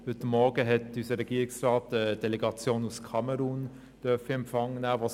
Heute Morgen hat unser Regierungsrat eine Delegation aus Kamerun in Empfang nehmen dürfen.